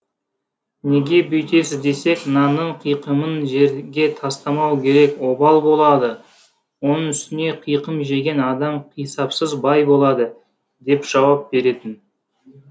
неге бүйтесіз десек нанның қиқымын жерге тастамау керек обал болады оның үстіне қиқым жеген адам қисапсыз бай болады деп жауап беретін